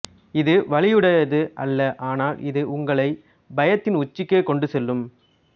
இது வலியுடையது அல்ல ஆனால் இது உங்களை பயத்தின் உச்சிக்கு கொண்டு செல்லும்